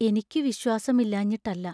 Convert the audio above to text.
എനിക്കു വിശ്വാസം ഇല്ലാഞ്ഞിട്ടല്ല.